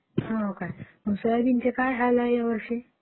हो का? मग सोयाबीनचे काय हाल आहे ह्या वर्षी?